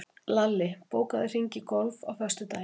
Lalli, bókaðu hring í golf á föstudaginn.